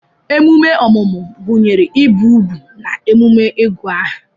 emume ọmụmụ gụnyere ibi úgwù na emume ịgụ aha